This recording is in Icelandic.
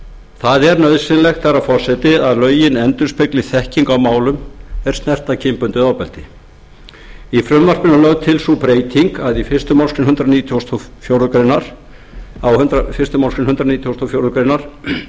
það er nauðsynlegt herra forseti að lögin endurspegli þekkinguna á málum er snerta kynbundið ofbeldi í frumvarpinu er lögð til sú breyting á fyrstu málsgrein hundrað nítugasta og fjórðu grein að